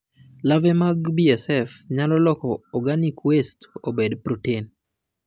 larvae mag BSF nyalo loko organic waste obed protein